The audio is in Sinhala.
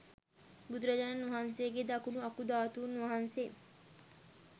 බුදුරජාණන් වහන්සේගේ දකුණු අකු ධාතුන් වහන්සේ